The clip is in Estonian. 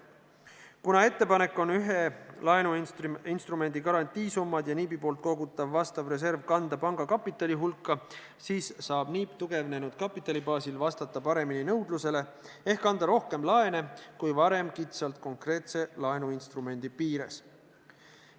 Kuna ettepanek on ühe laenuinstrumendi garantiisummad ja NIB-i poolt kogutav vastav reserv kanda panga kapitali hulka, siis saab NIB tugevnenud kapitali baasil vastata paremini nõudlusele ehk anda rohkem laene kui varem kitsalt konkreetse laenuinstrumendi piires.